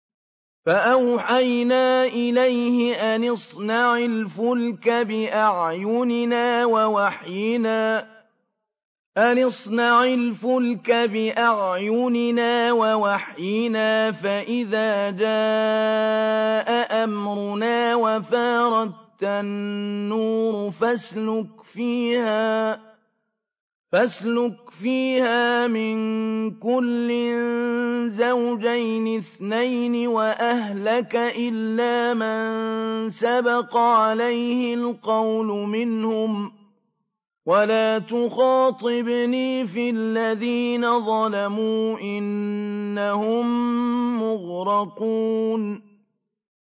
فَأَوْحَيْنَا إِلَيْهِ أَنِ اصْنَعِ الْفُلْكَ بِأَعْيُنِنَا وَوَحْيِنَا فَإِذَا جَاءَ أَمْرُنَا وَفَارَ التَّنُّورُ ۙ فَاسْلُكْ فِيهَا مِن كُلٍّ زَوْجَيْنِ اثْنَيْنِ وَأَهْلَكَ إِلَّا مَن سَبَقَ عَلَيْهِ الْقَوْلُ مِنْهُمْ ۖ وَلَا تُخَاطِبْنِي فِي الَّذِينَ ظَلَمُوا ۖ إِنَّهُم مُّغْرَقُونَ